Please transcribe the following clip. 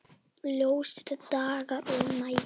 Ljósir dagar og nætur.